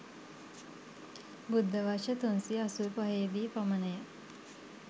බුද්ධ වර්ෂ 385 දී පමණ ය.